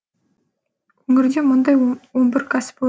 өңірде мұндай он бір кәсіпорын